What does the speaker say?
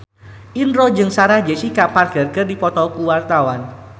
Indro jeung Sarah Jessica Parker keur dipoto ku wartawan